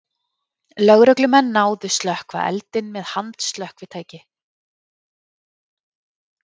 Lögreglumenn náðu slökkva eldinn með handslökkvitæki